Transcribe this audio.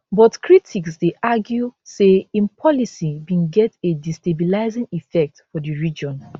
but critics dey argue say im policy bin get a destabilising effect for di region